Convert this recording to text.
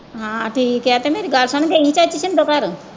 ਹਾਂ ਠੀਕ ਏ ਤੇ ਮੇਰੀ ਗੱਲ ਸੁਣ ਗਈ ਚਾਚੀ ਭਿੰਦੋ ਘਰ?